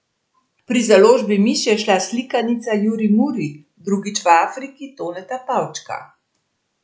Pri založbi Miš je izšla slikanica Juri Muri drugič v Afriki Toneta Pavčka.